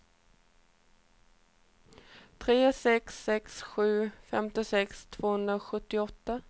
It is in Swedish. tre sex sex sju femtiosex tvåhundrasjuttioåtta